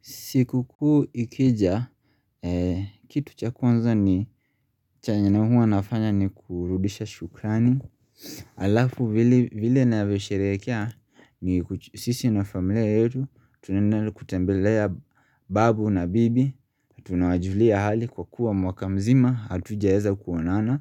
Siku kuu ikija, kitu chakwanza ni chenye na huwa nafanya ni kurudisha shukrani Alafu vile na visherekea ni sisi na familia yetu Tunendali kutembelea babu na bibi Tunawajulia hali kwa kuwa mwaka mzima Atujaeza kuonana